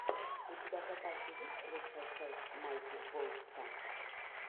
у тебя в запасе есть лучшая часть майки болтса